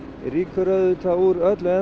rýkur auðvitað úr öllu